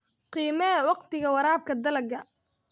Qiimee wakhtiga waraabka dalagga.